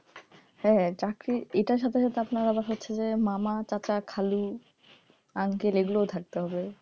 হ্যাঁ, চাকরি এটার সাথে সাথে আপনার হচ্ছে যে মামা, চাচা, খালু uncle এগুলাও থাকতে হবে,